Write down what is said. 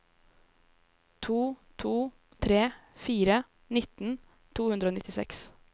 to to tre fire nitten to hundre og nittiseks